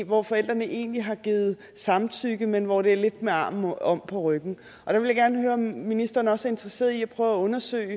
hvor forældrene egentlig har givet samtykke men hvor det er lidt med armen om på ryggen der vil jeg gerne høre om ministeren også er interesseret i at prøve at undersøge